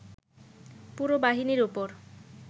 পুরো বাহিনীর উপর